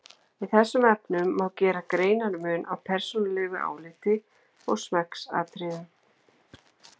Í þessum efnum má gera greinarmun á persónulegu áliti og smekksatriðum.